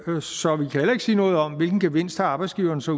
meget så vi kan heller ikke sige noget om hvilken gevinst arbejdsgiverne så